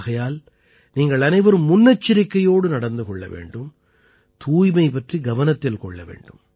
ஆகையால் நீங்கள் அனைவரும் முன்னெச்சரிக்கையோடு நடந்து கொள்ள வேண்டும் தூய்மை பற்றி கவனத்தில் கொள்ள வேண்டும்